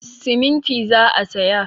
Siminti za a saya.